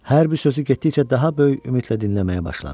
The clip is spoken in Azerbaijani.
Hər bir sözü getdikcə daha böyük ümidlə dinləməyə başladı.